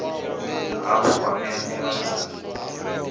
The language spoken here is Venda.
hafhu wa vhea ndila dza